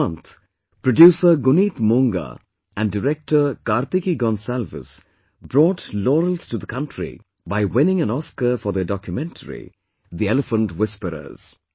This month, producer Guneet Monga and director Kartiki Gonsalves brought laurels to the country by winning an Oscar for their documentary, 'The Elephant Whisperers'